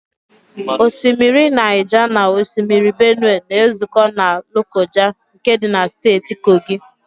Osimiri Naịja na osimiri Benue na-ezụkọ na Lokoja nke dị na Steeti Kogi.